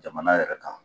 Jamana yɛrɛ kan